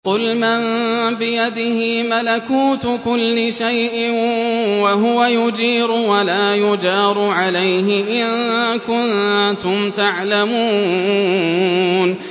قُلْ مَن بِيَدِهِ مَلَكُوتُ كُلِّ شَيْءٍ وَهُوَ يُجِيرُ وَلَا يُجَارُ عَلَيْهِ إِن كُنتُمْ تَعْلَمُونَ